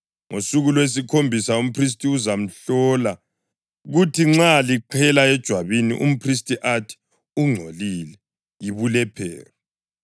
Ngosuku lwesikhombisa umphristi uzamhlola, kuthi nxa liqhela ejwabini, umphristi athi ungcolile, yibulephero.